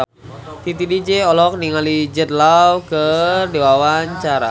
Titi DJ olohok ningali Jude Law keur diwawancara